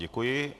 Děkuji.